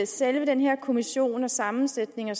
selve den her kommission og sammensætningen af